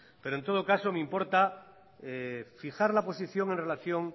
pero en todo caso me importa fijar la posición en relación